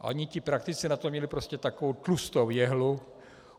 Oni ti praktici na to měli prostě takovou tlustou jehlu.